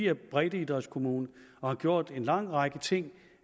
er breddeidrætskommune og har gjort en lang række ting